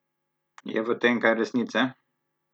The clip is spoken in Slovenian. Je v tem kaj resnice?